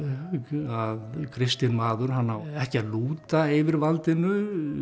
að kristinn maður hann á ekki að lúta yfirvaldinu